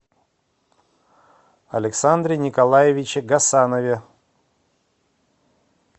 александре николаевиче гасанове